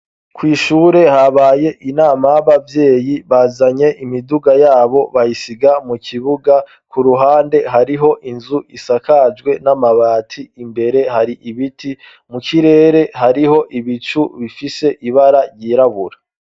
kw'ishure habaye inama y'abavyeyi bazanye imiduga yabo bayisiga mu kibuga ku ruhande hariho inzu isakajwe n'amabati imbere hari ibiti mu kirere hariho ibicu bifise ibara ryirabura